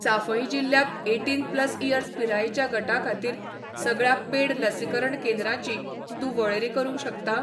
चांफई जिल्ल्यांत eighteen plus years पिरायेच्या गटा खातीर सगळ्या पेड लसीकरण केंद्रांची तूं वळेरी करूंक शकता?